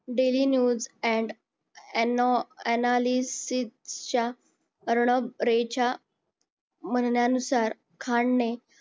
daily news and ano analysis च्या अर्णव रे च्या म्हणण्यानुसार खान ने